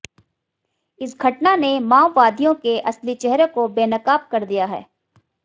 इस घटना ने माओवादियों के असली चेहरे को बेनकाब कर दिया है